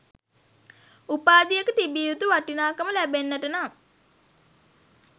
උපාධියක තිබිය යුතු වටිනාකම ලැබෙන්නට නම්